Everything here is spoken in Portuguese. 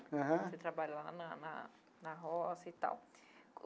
Aham. O senhor trabalha lá na na na roça e tal.